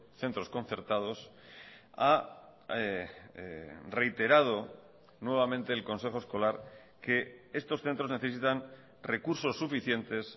centros concertados ha reiterado nuevamente el consejo escolar que estos centros necesitan recursos suficientes